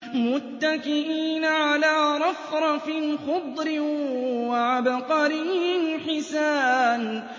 مُتَّكِئِينَ عَلَىٰ رَفْرَفٍ خُضْرٍ وَعَبْقَرِيٍّ حِسَانٍ